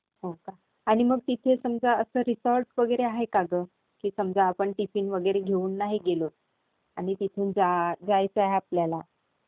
हो का? आणि मग तिथे समजा रिसॉर्ट वगैरे आहे का गं? की समजा आपण टिफिन वगैरे घेऊन नाही गेलो आणि मग तिथे जायचंय आपल्याला.